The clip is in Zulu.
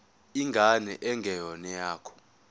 ingane engeyona eyakho